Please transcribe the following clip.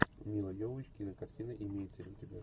мила йовович кинокартина имеется ли у тебя